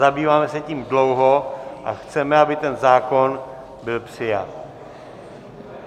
Zabýváme se tím dlouho a chceme, aby ten zákon byl přijat.